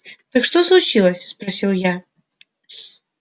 так что случилось спросил я